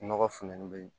Nɔgɔ funteni be yen